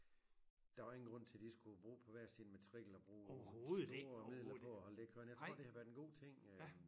Der var ingen grund til de skulle bo på hver sin matrikel og bruge store midler på at ligge herinde jeg tror det har været en god ting øh